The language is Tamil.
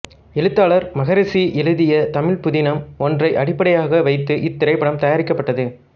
எழுத்தாளர் மகரிஷி எழுதிய தமிழ்ப் புதினம் ஒன்றை அடிப்படையாக வைத்து இத்திரைப்படம் தயாரிக்கப்பட்டது